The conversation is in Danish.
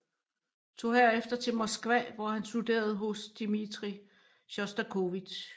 Tog herefter til Moskva hvor han studerede hos Dmitrij Sjostakovitj